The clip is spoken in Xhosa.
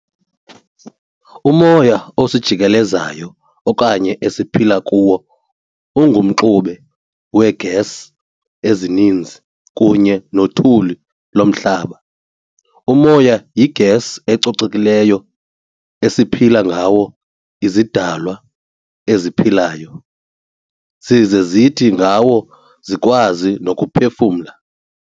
Umoya osijikeleziyo okanye esiphila kuwo ungumxube wee-gas ezininzi kunye nothuli lomhlaba. Umoya yi-gas ecocekileyo eziphila ngawo izidalwa eziphilayo, zize zithi ngawo zikwazi nokuphefumla.